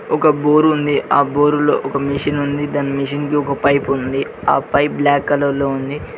ఒక బోరుంది ఆ బోరు లో ఒక మెషిన్ ఉంది దాని మెషిన్ కి ఒక పైపుంది ఆ పైపు బ్లాక్ కలర్ లో ఉంది.